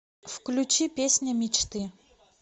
включи песня мечты